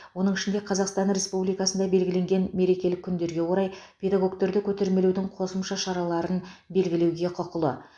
оның ішінде қазақстан республикасында белгіленген мерекелік күндерге орай педагогтерді көтермелеудің қосымша шараларын белгілеуге құқылы